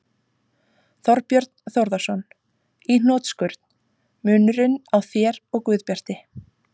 Þorbjörn Þórðarson: Í hnotskurn: Munurinn á þér og Guðbjarti?